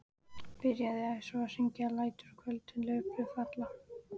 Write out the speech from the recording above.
Byrjaði svo að syngja aftur: LÆTUR Á KVÖLDIN LAUFBLÖÐ FALLA.